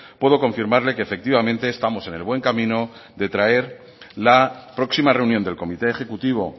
puedo confirmarle que efectivamente estamos en el buen camino de traer la próxima reunión del comité ejecutivo